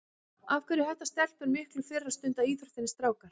Af hverju hætta stelpur miklu fyrr að stunda íþróttir en strákar?